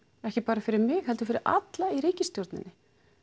ekki bara fyrir mig heldur fyrir alla í ríkisstjórninni